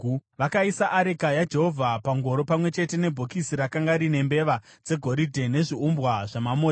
Vakaisa areka yaJehovha pangoro pamwe chete nebhokisi rakanga rine mbeva dzegoridhe nezviumbwa zvamamota.